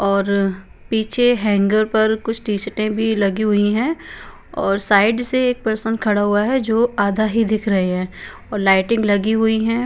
और पीछे हैंगर पर कुछ टी-शर्टें भी लगी हुई हैं और साइड से एक पर्सन खड़ा हुआ है जो आधा ही दिख रहे हैं और लाइटिंग लगी हुई हैं।